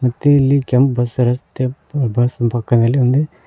ಮತ್ತೆ ಇಲ್ಲಿ ಕೆಂಪ್ ಬಸ್ ಇರುತ್ತೆ ಬಸ್ ಪಕ್ಕದಲ್ಲಿ ಅಲ್ಲಿ--